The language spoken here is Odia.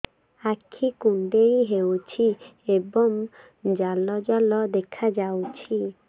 ଆଖି କୁଣ୍ଡେଇ ହେଉଛି ଏବଂ ଜାଲ ଜାଲ ଦେଖାଯାଉଛି